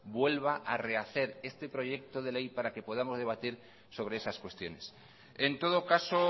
vuelva a rehacer este proyecto de ley para que podamos debatir sobre esas cuestiones en todo caso